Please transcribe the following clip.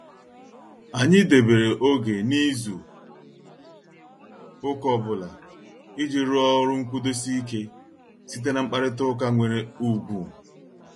Anyị debere oge n'izu ụka ọbụla, iji rụọ ọrụ nkwudosi ike site na mkparita ụka nwere ugwu.